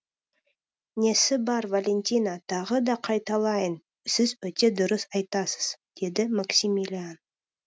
несі бар валентина тағы да қайталайын сіз өте дұрыс айтасыз деді максимилиан